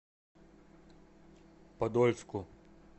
подольску